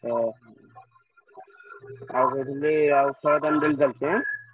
ଓ! ଆଉ କହୁଥିଲି ଆଉ ଖେଳ ତାହେଲେ daily ଚାଲିଛି ଏଁ?